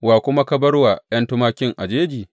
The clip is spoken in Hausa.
Wa kuma ka bar wa ’yan tumakin a jeji?